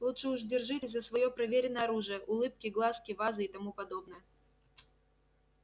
лучше уж держитесь за своё проверенное оружие улыбки глазки вазы и тому подобное